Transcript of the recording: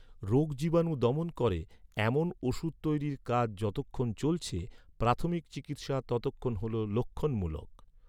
রোগজীবাণু দমন করে, এমন ওষুধ তৈরির কাজ যতক্ষণ চলছে, প্রাথমিক চিকিৎসা ততক্ষণ হল লক্ষণমূলক।